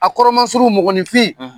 A kɔrɔma surun mɔgɔninfin.